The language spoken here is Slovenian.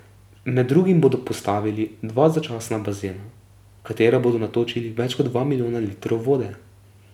Med drugim bodo postavili dva začasna bazena, v katera bodo natočili več kot dva milijona litrov vode.